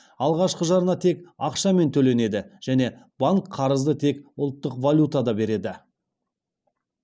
алғашқы жарна тек ақшамен төленеді және банк қарызды тек ұлттық валютада береді